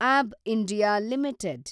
ABB India limited